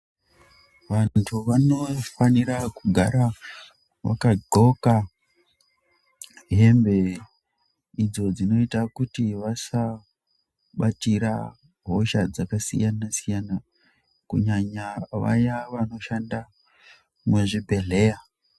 Vantu vanofanira kugara vakadxoka hembe idzo dzinoita kuti vasabatira hosha dzakasiyana siyana kunyanya vaya vanoshanda muzvibhedhleya.